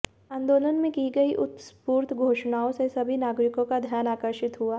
आंदोलन में की गई उत्स्फूर्त घोषणाओं से सभी नागरिकों का ध्यान आकर्षित हुआ